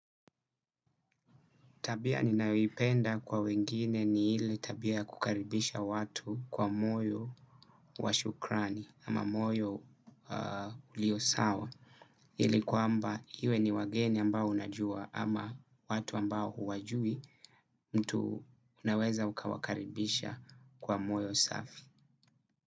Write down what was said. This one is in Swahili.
Tabia ninayoipenda kwa wengine ni ile tabia kukaribisha watu kwa moyo washukrani ama moyo ulio sawa. Ili kwamba iwe ni wageni ambao unajua ama watu ambao huwajui, mtu unaweza ukawakaribisha kwa moyo safi.